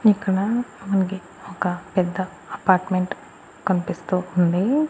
ఇక్కడ మనకి ఒక పెద్ద అపార్ట్మెంట్ కనిపిస్తూ ఉంది.